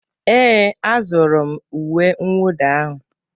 Ee, a zụrụ m uwe mwụda ahụ?